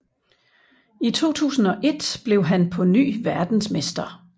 I 2001 blev han på ny verdensmester